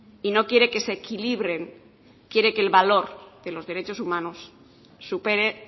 y no quiere que se equilibren quiere que el valor de los derechos humanos supere